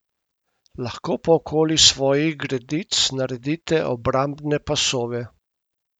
Lahko pa okoli svojih gredic naredite obrambne pasove.